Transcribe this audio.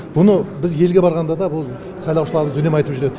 мұны біз елге барғанда да бұл сайлаушыларымыз үнемі айтып жүретін